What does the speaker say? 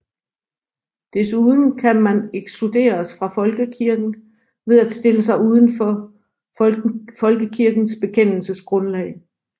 Desuden kan man ekskluderes fra folkekirken ved at stille sig uden for folkekirkens bekendelsesgrundlag